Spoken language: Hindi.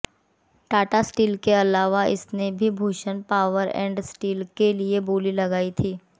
टाटा स्टील के अलावा इसने भी भूषण पावर ऐंड स्टील के लिए बोली लगाई थी